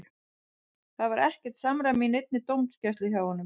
Það var ekkert samræmi í neinni dómgæslu hjá honum.